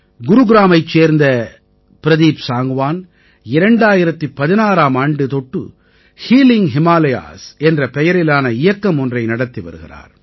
குருகிராமத்தைச் சேர்ந்த பிரதீப் சாங்க்வான் 2016ஆம் ஆண்டு தொட்டு ஹீலிங் ஹிமாலயாஸ் என்ற பெயரிலான இயக்கம் ஒன்றை நடத்தி வருகிறார்